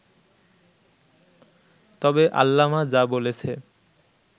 তবে আল্লামা যা বলেছে